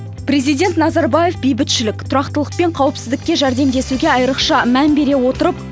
президент назарбаев бейбітшілік тұрақтылық пен қауіпсіздікке жәрдемдесуге айрықша мән бере отырып